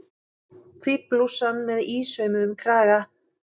Hvít blússan með ísaumuðum kraga.